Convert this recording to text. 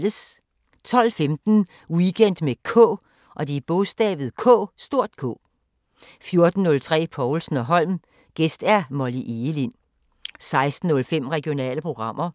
12:15: Weekend med K 14:03: Povlsen & Holm: Gæst Molly Egelind 16:05: Regionale programmer